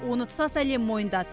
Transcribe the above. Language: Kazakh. оны тұтас әлем мойындады